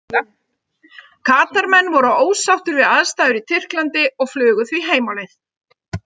Katar menn voru ósáttir við aðstæður í Tyrklandi og flugu því heim á leið.